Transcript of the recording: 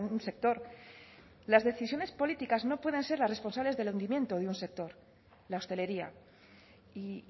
un sector las decisiones políticas no pueden ser las responsables del hundimiento de un sector la hostelería y